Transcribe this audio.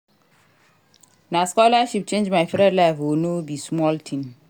Na scholarship change my friend life o no be small tin.